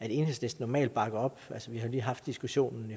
enhedslisten normalt bakker op altså vi har lige haft diskussionen